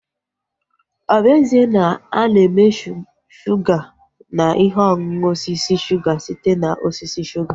Ọ bụ ezie na ana eme shuga na ihe ọṅụṅụ osisi suga site na osisi shuga